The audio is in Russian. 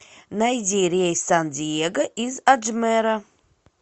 найди рейс в сан диего из аджмера